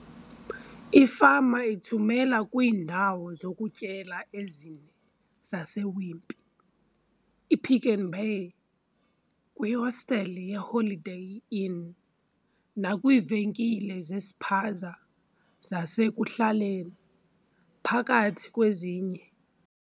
Ifama ithumela kwiindawo zokutyela ezine zase-Wimpy, i-Pick n Pay, kwi hotele ye-Holiday Inn nakwiivenkile zespaza zasekuhlaleni, phakathi kwezinye.